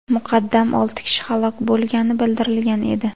Muqaddam olti kishi halok bo‘lgani bildirilgan edi .